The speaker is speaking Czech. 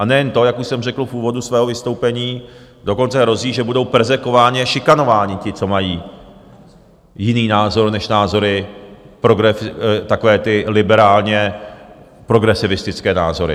A nejen to, jak už jsem řekl v úvodu svého vystoupení, dokonce hrozí, že budou perzekvováni a šikanováni ti, co mají jiný názor než názory... takové ty liberálně progresivistické názory.